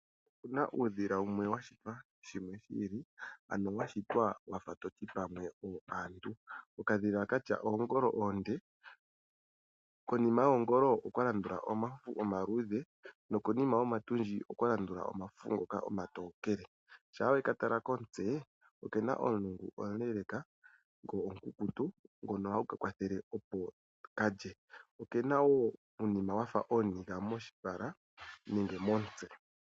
Opuna uudhila wumwe wa shitwa shimwe shi ili ano wa shitwa wafa toti pamwe aantu. Okadhila katya oongolo oonde, konima yoongolo okwa landula omafufu omaluudhe, nokonima yomatundji okwa landula omafufu ngoka omatokele, shaa weka tala komutse oke na omulungu omuleeleeka, go omukukutu ngono hagu ka kwathele opo kalye. Oke na wo uunima wafa ooniga moshipala nenge momutse.